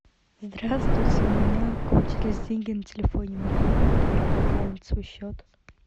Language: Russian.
здравствуйте у меня кончились деньги на телефоне могу ли я пополнить свой счет